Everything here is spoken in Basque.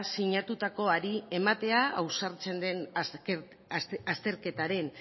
sinatutakoari ematea ausartzen den azterketaren